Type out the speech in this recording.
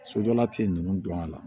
Sojɔla te nunnu don a la